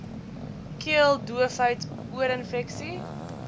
keel doofheid oorinfeksies